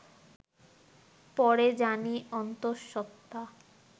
পরে জানি অন্তঃসত্ত্বা